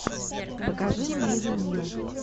покажи мне винил